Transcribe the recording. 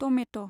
tomato